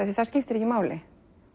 því það skiptir ekki máli